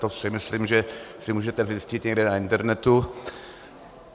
To si myslím, že si můžete zjistit někde na internetu.